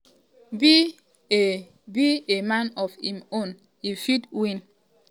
be a be a man of im own if e win. '